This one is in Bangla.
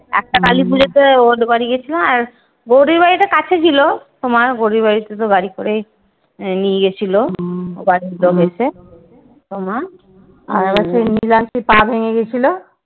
একটা কালীপুজো তে ওদের বাড়ি গিয়েছিলাম। আর গৌরীর বাড়ি তো কাছে ছিল তোমার গৌরির বাড়িতে তো গাড়ি করেই নিয়ে গিয়েছিল একদম এসে। তোমার আর হচ্ছে লিমার সেই পা ভেঙ্গে গেছিল?